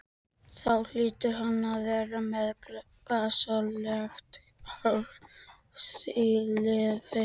Þá hlýtur hann að vera með gasalegt harðlífi.